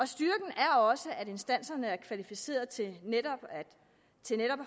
styrken er også at instanserne er kvalificerede til netop at